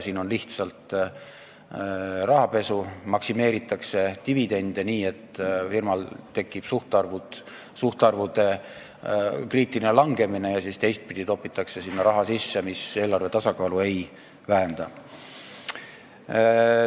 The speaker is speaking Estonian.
Siin on lihtsalt rahapesu: maksimeeritakse dividende nii, et firmal tekib suhtarvude kriitiline langemine, ja siis teistpidi topitakse sinna raha sisse, mis eelarve tasakaalu ei vähenda.